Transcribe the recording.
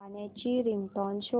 गाण्याची रिंगटोन शोध